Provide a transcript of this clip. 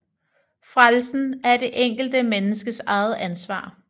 Frelsen er det enkelte menneskes eget ansvar